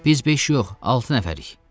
Biz beş yox, altı nəfərik.